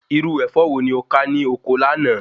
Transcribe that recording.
Irú Ẹ̀fọ́ wo ni o ká ní ọkọ láàná?